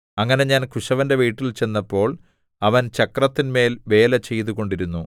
അങ്ങനെ ഞാൻ കുശവന്റെ വീട്ടിൽ ചെന്നപ്പോൾ അവൻ ചക്രത്തിന്മേൽ വേല ചെയ്തുകൊണ്ടിരുന്നു